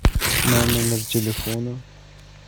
на номер телефона